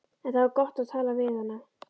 En það var gott að tala við hana.